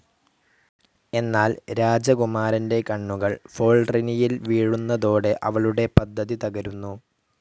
എന്നാൽ രാജകുമാരൻ്റെ കണ്ണുകൾ ഫോൾറിനിൽ വീഴുന്നതോടെ അവളുടെ പദ്ധതി തകരുന്നു.